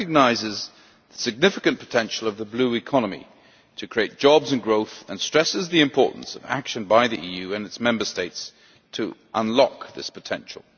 It recognises the significant potential of the Blue Economy to create jobs and growth, and stresses the importance of action by the EU and its Member States to unlock this potential.